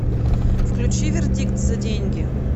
включи вердикт за деньги